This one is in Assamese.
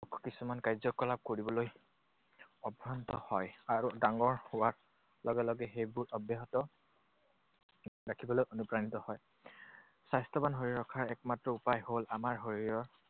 কিছুমান কাৰ্যকলাপ কৰিবলৈ অভ্যস্ত হয়, আৰু ডাঙৰ হোৱাৰ লগে লগে সেইবোৰ অব্যাহত ৰাখিবলৈ অনুপ্ৰাণিত হয়। স্বাস্থ্যৱান হৈ ৰখাৰ একমাত্ৰ উপায় হ'ল আমাৰ শৰীৰৰ